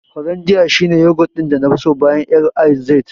Hollondia shi ne yogurt ɗin nafi so bayan L&Z.